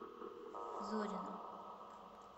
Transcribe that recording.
зорина